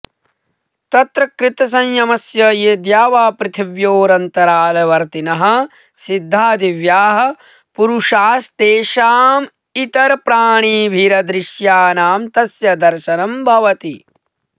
तत्र कृतसंयमस्य ये द्यावापृथिव्योरन्तरालवर्तिनः सिद्धा दिव्याः पुरुषास्तेषामितरप्राणिभिरदृश्यानाम् तस्य दर्शनं भवति